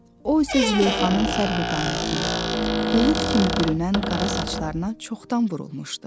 O isə Züleyxanın sərvü qamətinə, bulud kimi bürünən qara saçlarına çoxdan vurulmuşdu.